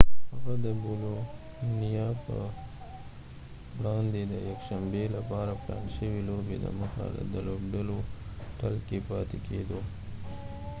هغه د بولونیا په وړاندې د یکشنبي لپاره پلان شوي لوبي دمخه د لوبډلیهوټل کې پاتې کیدو